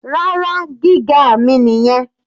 Rárá, gíga mi nìyẹn.